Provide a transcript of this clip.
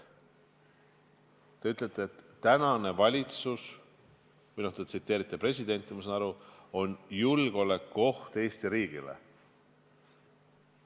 Te ütlesite presidenti tsiteerides, et tänane valitsus, ma saan aru, on julgeolekuoht Eesti riigile.